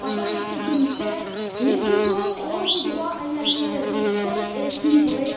Enfin, Monsieur le Commissaire, les plus pauvres ont aussi droit à une alimentation saine et équilibrée.